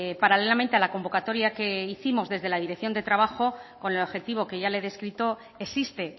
paralelamente a la convocatoria que hicimos desde la dirección de trabajo con el objetivo que ya le he descrito existe